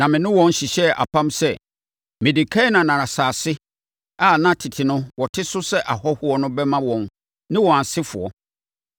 Na me ne wɔn hyehyɛɛ apam sɛ mede Kanaan asase a na tete no wɔte so sɛ ahɔhoɔ no bɛma wɔn ne wɔn asefoɔ.